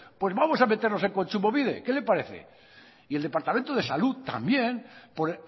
pues vamos a meternos en kontsumobide qué le parece y el departamento de salud también por